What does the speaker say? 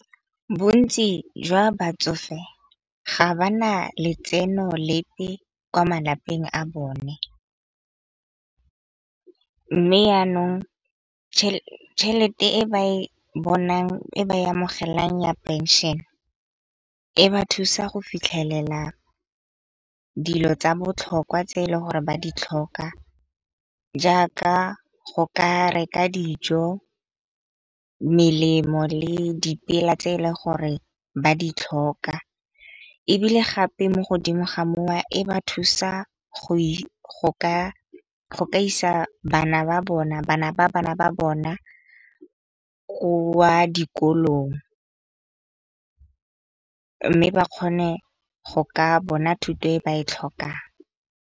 Bontsi jwa batsofe ga ba na letseno lepe kwa malapeng a bone. Mme yanong chelete e ba e bonang e ba e amogelang ya phenšene e ba thusa go fitlhelela dilo tsa botlhokwa tse e le gore ba di tlhoka jaaka go ka reka dijo, melemo le dipela tse e le gore ba di tlhoka. Ebile gape mo godimo ga mo e ba thusa go ka isa bana ba bana ba bona wa dikolong mme ba kgone go ka bona thuto e ba e tlhokang.